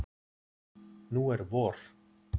Nú er vor.